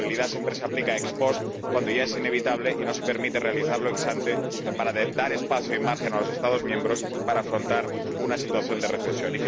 Porque la flexibilidad siempre se aplica ex post cuando ya es inevitable y no se permite realizarla ex ante para dar espacio y margen a los Estados miembros para afrontar una situación de recesión.